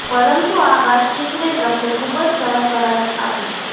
પરંતુ આ વાતચીતને ટ્રમ્પે ખુબ જ ખરાબ કરાર આપી